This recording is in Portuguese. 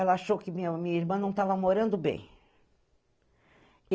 Ela achou que minha minha irmã não estava morando bem.